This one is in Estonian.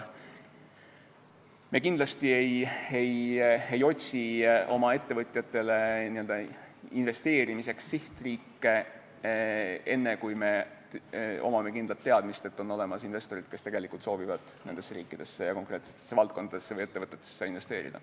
Me kindlasti ei otsi oma ettevõtjatele investeerimiseks sihtriike enne, kui meil on kindel teadmine, et on olemas investorid, kes tegelikult soovivad nendesse riikidesse ja konkreetsetesse valdkondadesse või ettevõtetesse investeerida.